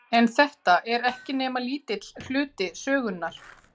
En þetta er ekki nema lítill hluti sögunnar.